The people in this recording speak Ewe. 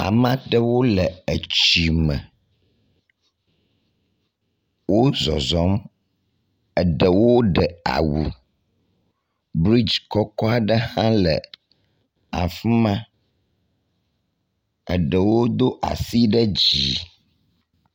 Ame aɖewo le etsi me. Wozɔzɔ̃m, eɖewo ɖe awu. Bridzi kɔkɔ aɖe hã le afi ma. Eɖewo do asi ɖe dzi.